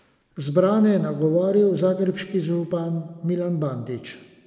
Zbrane je nagovoril zagrebški župan Milan Bandić.